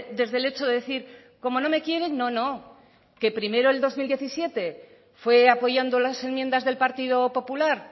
desde el hecho de decir como no me quieren no no que primero el dos mil diecisiete fue apoyando las enmiendas del partido popular